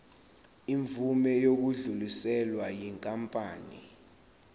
imvume yokudluliselwa yinkampani